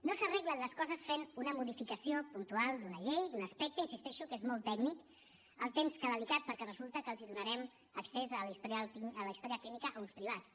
no s’arreglen les coses fent una modificació puntual d’una llei d’un aspecte hi insisteixo que és molt tècnic i alhora delicat perquè resulta que donarem accés a la història clínica a uns privats